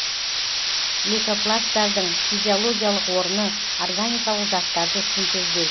лейкопласттардың физиологиялық орыны органикалық заттарды синтездеу